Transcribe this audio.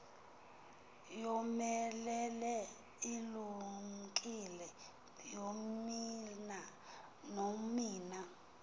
yomelele ilumkile nonina